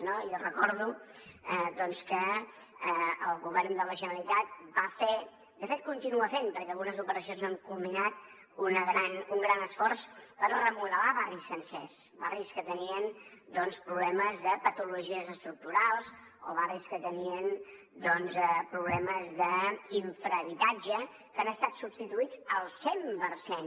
jo recordo que el govern de la generalitat va fer de fet continua fent perquè algunes operacions no han culminat un gran esforç per remodelar barris sencers barris que tenien problemes de patologies estructurals o barris que tenien problemes d’infrahabitatge que han estat substituïts al cent per cent